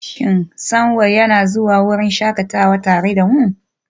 Shin Samuel yana zuwa wurin shakatawa tare da mu?